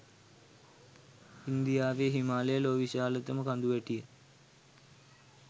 ඉන්දියාවේ හිමාලය ලොව විශාලතම කඳුවැටිය